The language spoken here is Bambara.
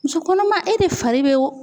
Muso kɔnɔma e de fari be